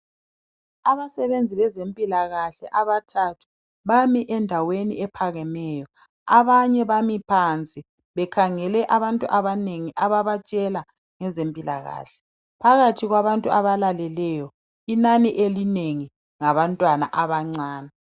Abasebenzi bezempilakahle abathathu bami endaweni ephakemeyo. Abanye bami phansi bekhangele abantu abanengi ababatshela ngezempilakahle. Phakathi kwabantu abalaleleyo inani elinengi ngabantwana abancane.